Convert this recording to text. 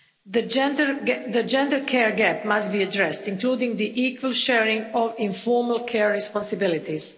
The gender care gap must be addressed, including the equal sharing of informal care responsibilities.